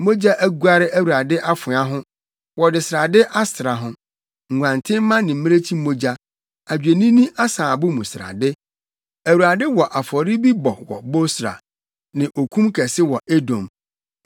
Mogya aguare Awurade afoa ho, wɔde srade asra ho, nguantenmma ne mmirekyi mogya, adwennini asaabo mu srade. Awurade wɔ afɔre bi bɔ wɔ Bosra ne okum kɛse wɔ Edom.